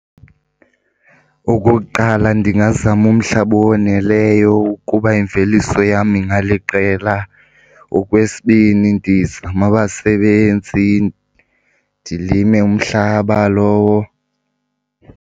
Okokuqala, ndingazama umhlaba owoneleyo ukuba imveliso yam ingaliqela. Okwesibini, ndizame abasebenzi, ndilime umhlaba lowo.